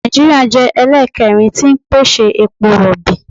Nàìjíríà jẹ́ ẹlẹ́ẹ̀kẹrin tí ń pèsè epo rọ̀bì.